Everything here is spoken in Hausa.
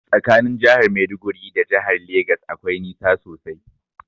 Tsakanin jahar maiduguri da jahar legas akwai nisa sosai.